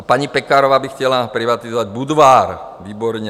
A paní Pekarová by chtěla privatizovat Budvar - výborně.